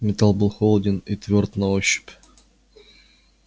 металл был холоден и твёрд на ощупь